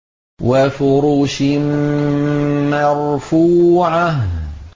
وَفُرُشٍ مَّرْفُوعَةٍ